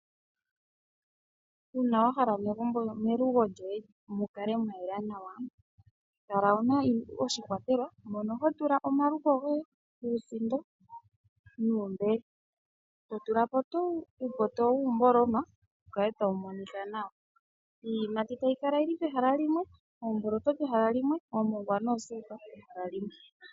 Uuna wa hala melugo lyoye mu kale mwa yela nawa kala wuna oshikwatelwa mono ho tula omaluko goye uusindo, omaluko nuumbele. To tula po uupoto wiimboloma pu kale tapu monika nawa. Iiyimati, oombotolo, oomongwa noosindo pehala limwe.